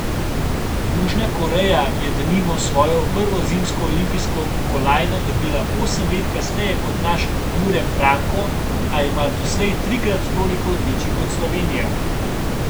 Južna Koreja je denimo svojo prvo zimsko olimpijsko kolajno dobila osem let kasneje kot naš Jure Franko, a ima doslej trikrat toliko odličij kot Slovenija.